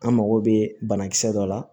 An mago bɛ banakisɛ dɔ la